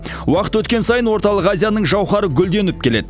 уақыт өткен сайын орталық азияның жауһары гүлденіп келеді